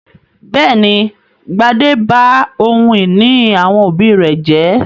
Bẹ́ẹ̀ ni, Gbadé ba ohun-ìní àwọn òbí rẹ̀ jẹ́.